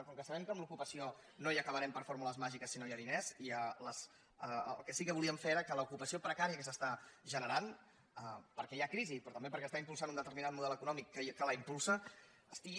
com que sabem que amb l’ocupació no hi acabarem per fórmules màgiques si no hi ha diners el que sí que volíem fer és que l’ocupació precària que s’està generant perquè hi ha crisi però també perquè s’està impulsant un determinat model econòmic que la impulsa estigui